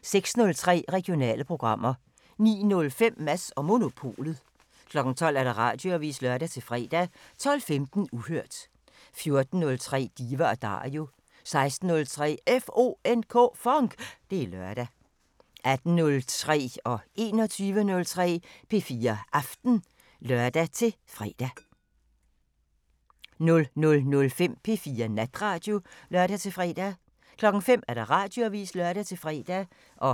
06:03: Regionale programmer 09:05: Mads & Monopolet 12:00: Radioavisen (lør-fre) 12:15: Uhørt 14:03: Diva & Dario 16:03: FONK! Det er lørdag 18:03: P4 Aften (lør-søn) 21:03: P4 Aften (lør-fre) 00:05: P4 Natradio (lør-fre) 05:00: Radioavisen (lør-fre)